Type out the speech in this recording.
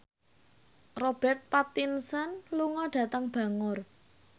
Robert Pattinson lunga dhateng Bangor